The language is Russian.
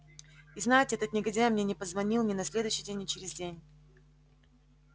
и знаете этот негодяй мне не позвонил ни на следующий день ни через день